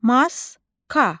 Maska.